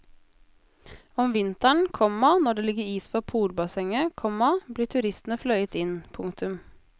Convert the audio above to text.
Om vinteren, komma når det ligger is på polbassenget, komma blir turistene fløyet inn. punktum